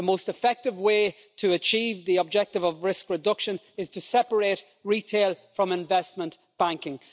The most effective way to achieve the objective of risk reduction is to separate retail from investment banking.